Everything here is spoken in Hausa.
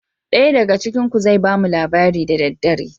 Ɗaya daga cikin ku zai bamu labari da daddare.